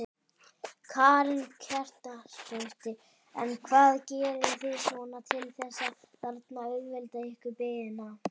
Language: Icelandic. Karen Kjartansdóttir: En hvað gerið þið svona til þess að þarna auðvelda ykkur biðina?